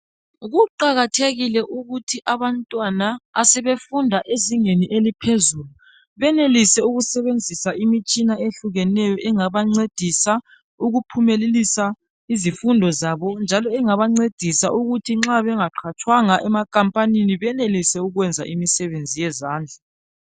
Kuqakathekile ukuthi abantwana, asebefunda ezingeni eliphezulu, benelise ukusebenzisa imitshina ehlukeneyo engabancedisa ukuphumelelisa izifundo zabo, njalo engabancedisa ukuthi nxa bengaqhatshwanga emakhampanini benelise ukwenza imisebenzi yezandla.